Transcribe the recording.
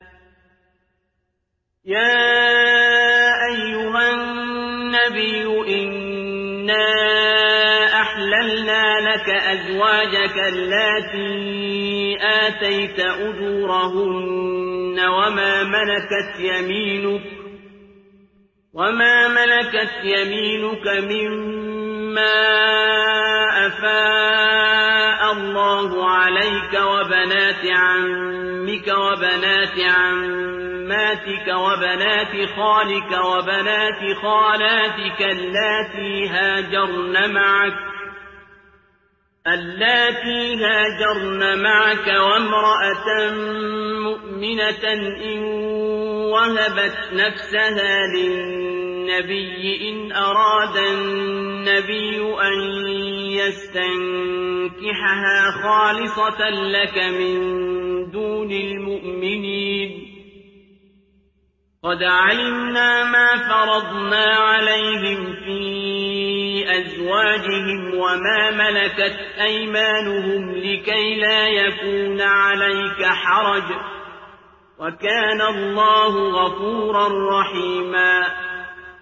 يَا أَيُّهَا النَّبِيُّ إِنَّا أَحْلَلْنَا لَكَ أَزْوَاجَكَ اللَّاتِي آتَيْتَ أُجُورَهُنَّ وَمَا مَلَكَتْ يَمِينُكَ مِمَّا أَفَاءَ اللَّهُ عَلَيْكَ وَبَنَاتِ عَمِّكَ وَبَنَاتِ عَمَّاتِكَ وَبَنَاتِ خَالِكَ وَبَنَاتِ خَالَاتِكَ اللَّاتِي هَاجَرْنَ مَعَكَ وَامْرَأَةً مُّؤْمِنَةً إِن وَهَبَتْ نَفْسَهَا لِلنَّبِيِّ إِنْ أَرَادَ النَّبِيُّ أَن يَسْتَنكِحَهَا خَالِصَةً لَّكَ مِن دُونِ الْمُؤْمِنِينَ ۗ قَدْ عَلِمْنَا مَا فَرَضْنَا عَلَيْهِمْ فِي أَزْوَاجِهِمْ وَمَا مَلَكَتْ أَيْمَانُهُمْ لِكَيْلَا يَكُونَ عَلَيْكَ حَرَجٌ ۗ وَكَانَ اللَّهُ غَفُورًا رَّحِيمًا